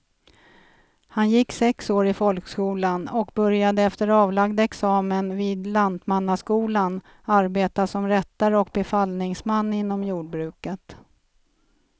Han gick sex år i folkskolan och började efter avlagd examen vid lantmannaskolan arbeta som rättare och befallningsman inom jordbruket.